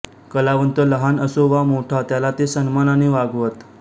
कलावंत लहान असो वा मोठा त्याला ते सन्मानाने वागवत